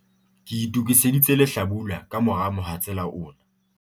ke itokiseditse lehlabula ka mora mohatsela ona